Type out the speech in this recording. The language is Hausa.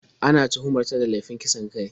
Ana tuhumar ta da laifin kisan kai.